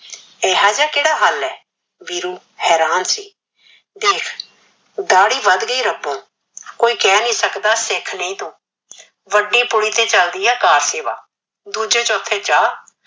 ਇਹੋ ਜਿਹਾ ਕਿਹੜਾ ਹਲ ਏ ਵੀਰੂ ਹੇਰਾਨ ਸੀ ਦੇਖ ਦਾਹੜੀ ਵਧ ਗੀ ਰਬਾ ਕੋਈ ਕਿਹ ਨਹੀ ਸਕਦਾ ਸਿਖ ਨਹੀ ਤੂ ਵਡੀ ਪੁਲੀ ਤੇ ਚਲਦੀ ਏ ਕਾਰ ਸੇਵਾ ਦੂਜੇ ਚੋਥੇ ਚਾਹ